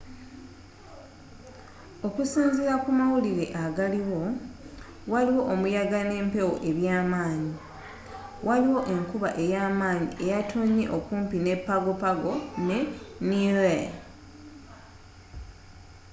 okusinzila ku mawulire agaliwo waliwo omuyaga n'empewo ebyamanyi waliwo enkuba eyamanyi eyatonye okumpi ne pago pago ne niue